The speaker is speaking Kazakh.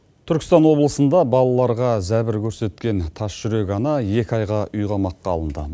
түркістан облысында балаларға зәбір көрсеткен тас жүрек ана екі айға үй қамаққа алынды